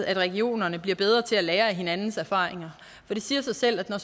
at regionerne bliver bedre til at lære af hinandens erfaringer det siger sig selv at når